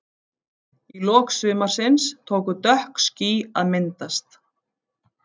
Í lok sumarsins tóku dökk ský að myndast.